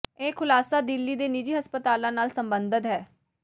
ਇਹ ਖੁਲਾਸਾ ਦਿੱਲੀ ਦੇ ਨਿੱਜੀ ਹਸਪਤਾਲਾਂ ਨਾਲ ਸਬੰਧਤ ਹੈ